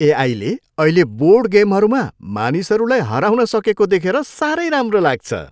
ए आईले अहिले बोर्ड गेमहरूमा मानिसहरूलाई हराउन सकेको देखेर साह्रै राम्रो लाग्छ।